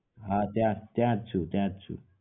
હા ત્યાંજ છું ત્યાંજ છું